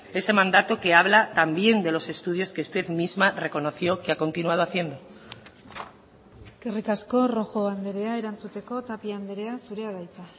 ese mandato que habla también de los estudios que usted misma reconoció que ha continuado haciendo eskerrik asko rojo andrea erantzuteko tapia andrea zurea da hitza